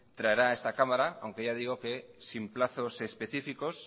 traerá a esta cámara aunque ya digo que sin plazos específicos